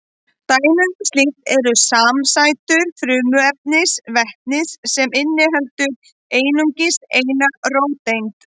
Dæmi um slíkt eru samsætur frumefnisins vetnis sem inniheldur einungis eina róteind.